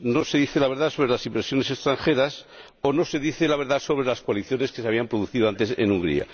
no se dice la verdad sobre las inversiones extranjeras o no se dice la verdad sobre las coaliciones que se habían producido antes en Hungría.